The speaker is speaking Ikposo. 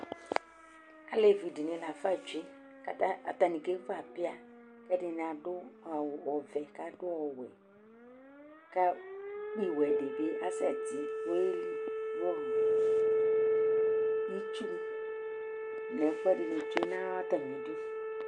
Alevidini la fa tsue atani kevu apia ɛdini adu awu ɔvɛ kadu ɔwɛ ku ukpi wɛdibi asɛ ti kueli nu itsu nu ɛfuɛ dini tsue natamidu